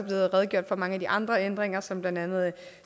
redegjort for mange af de andre ændringer som blandt andet